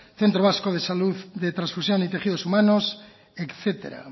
centro vasco de salud de transfusión y tejidos humanos etcétera